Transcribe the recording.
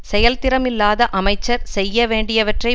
செயல் திறம் இல்லாத அமைச்சர் செய்ய வேண்டியவற்றை